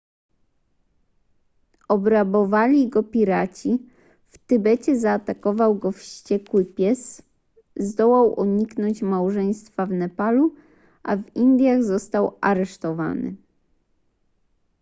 obrabowali go piraci w tybecie zaatakował go wściekły pies zdołał uniknąć małżeństwa w nepalu a w indiach został aresztowany